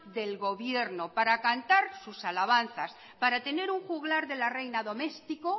del gobierno para cantar sus alabanzas para tener un juglar de la reina doméstico